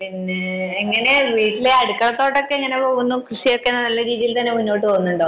പിന്നെ എങ്ങനെ വീട്ടിലെ അടുക്കളത്തോട്ടം ഒക്കെ എങ്ങനെ പോകുന്നു കൃഷിയൊക്കെ നല്ല രീതിയിൽ മുന്നോട്ട് പോകുന്നുണ്ടോ